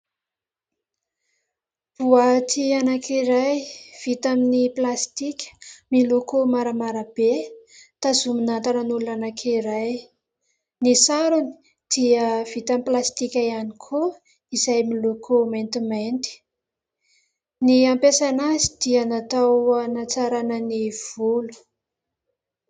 Boaty anankiray vita amin'ny plastika miloko maramara be tazomina tanan'olona anankiray. Ny sarony dia vita amin'ny plastika ihany koa izay miloko maintimainty. Ny ampiasaina azy dia natao hanatsarana ny volo.